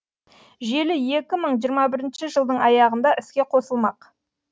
желі екі мың жиырма бірінші жылдың аяғында іске қосылмақ